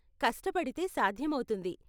కష్టపడితే సాధ్యమవుతుంది.